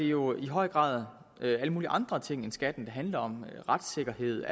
jo i høj grad alle mulige andre ting end skatten det handler om retssikkerhed